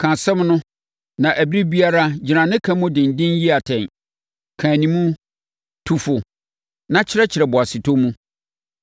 ka asɛm no, na ɛberɛ biara gyina ne ka mu denden yi atɛn. Ka anim, tu fo na kyerɛkyerɛ boasetɔ mu.